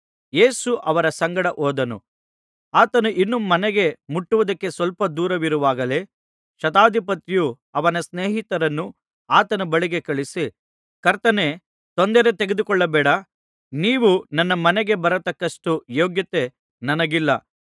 ಯೇಸು ಅವರ ಸಂಗಡ ಹೋದನು ಆತನು ಇನ್ನೂ ಮನೆಗೆ ಮುಟ್ಟುವುದಕ್ಕೆ ಸ್ವಲ್ಪ ದೂರವಿರುವಾಗಲೇ ಶತಾಧಿಪತಿಯು ಅವನ ಸ್ನೇಹಿತರನ್ನು ಆತನ ಬಳಿಗೆ ಕಳುಹಿಸಿ ಕರ್ತನೇ ತೊಂದರೆ ತೆಗೆದುಕೊಳ್ಳಬೇಡ ನೀವು ನನ್ನ ಮನೆಗೆ ಬರತಕ್ಕಷ್ಟು ಯೋಗ್ಯತೆ ನನಗಿಲ್ಲ